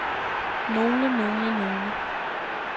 nogle nogle nogle